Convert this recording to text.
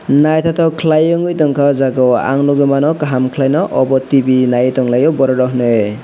naithothok khwlai ungui tongkha oh jagao ang nukgwi mano kaham khwlaino obo tv nai tonglaio borokrok hinwi.